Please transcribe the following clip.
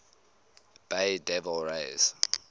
bay devil rays